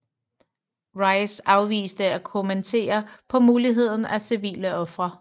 Rice afviste at kommentere på muligheden af civile ofre